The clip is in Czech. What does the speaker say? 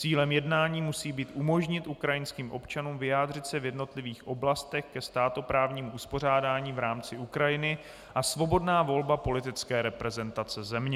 Cílem jednání musí být umožnit ukrajinským občanům vyjádřit se v jednotlivých oblastech ke státoprávnímu uspořádání v rámci Ukrajiny a svobodná volba politické reprezentace země.